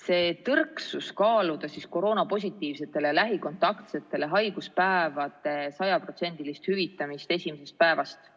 See tõrksus kaaluda koroonapositiivsetele ja lähikontaktsetele haiguspäevade sajaprotsendilist hüvitamist esimesest päevast